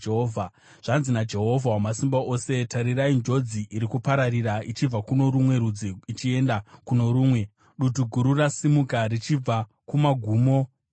Zvanzi naJehovha Wamasimba Ose: “Tarirai, njodzi iri kupararira ichibva kuno rumwe rudzi ichienda kuno rumwe; dutu guru rasimuka richibva kumagumo enyika.”